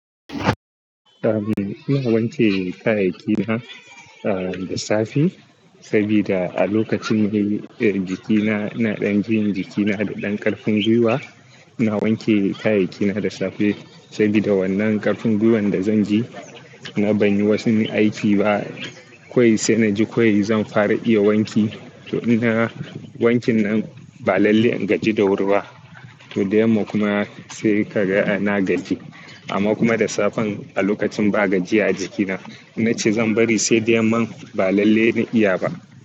Ina wanke kayayyakina da safe sabida a lokacinne jikina, ina ɗan jin jikina da ɗan ƙarfin gwiwa. Ina wanke kayayyakina da safe saboda wannan ƙarfin gwiwan da zanji, na banyi wasu aiki ba. Kowai sai naji kawai zan fara iya wanki. To ina, wankinnan ba lalle in gaji da wuri ba. To dayamma kuma sai kaga na gaji. Amma kuma da safen a lokacin ba gajiya a jikina, in nace zan bari sai dayamman ba lalle na iyaba.